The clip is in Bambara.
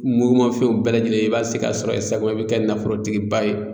Mugumafɛnw bɛɛ lajɛlen i b'a sigi ka sɔrɔ ye sabu i bi kɛ nafolotigi ba ye